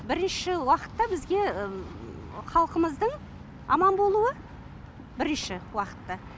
бірінші уақытта бізге халқымыздың аман болуы бірінші уақытта